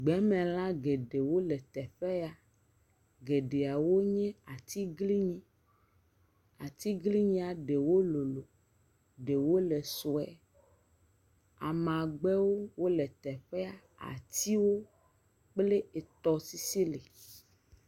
Gbemelã geɖewo le teƒe ya, geɖeawo nye atiglinyi. Atiglinyia ɖewo lolo ɖewo le sue. Amagbewo le teƒe, atiwo kple tɔsisi li.